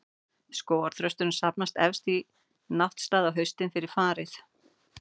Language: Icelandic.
Skógarþrösturinn safnast helst í náttstaði á haustin, fyrir farið.